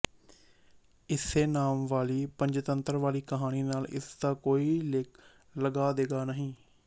ਇਸੇ ਨਾਮ ਵਾਲੀ ਪੰਚਤੰਤਰ ਵਾਲੀ ਕਹਾਣੀ ਨਾਲ ਇਸ ਦਾ ਕੋਈ ਲਗਾ ਦੇਗਾ ਨਹੀਂ